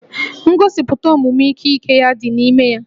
Ngosipụta omume ike ike ya dị n'ime ya